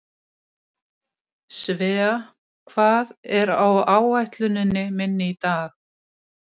Svea, hvað er á áætluninni minni í dag?